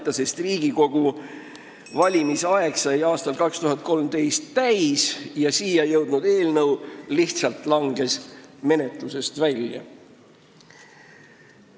XII Riigikogu aeg sai ümber aastal 2015 ja siia jõudnud eelnõu langes lihtsalt menetlusest välja.